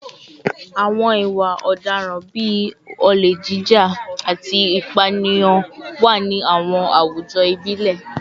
Àwọn ìwà ọ̀daràn bíi olè jíjà, olè jíjà, àti ìpànìyàn wà ní àwọn àwùjọ ìbílẹ̀